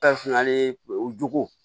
ale jogo